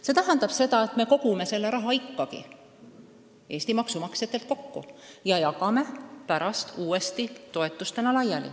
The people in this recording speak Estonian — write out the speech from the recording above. See tähendaks seda, et me kogume selle raha ikkagi Eesti maksumaksjatelt kokku ja jagame pärast uuesti toetustena laiali.